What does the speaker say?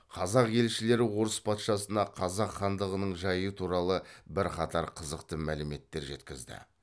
қазақ елшілері орыс патшасына қазақ хандығының жайы туралы бірқатар қызықты мәліметтер жеткізді